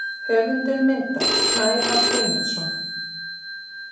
Höfundur myndar: Snævar Guðmundsson.